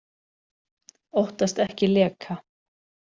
Óttast ekki leka